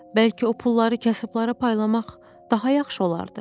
Bəlkə o pulları kasıblara paylamaq daha yaxşı olardı.